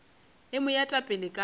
e mo eta pele ka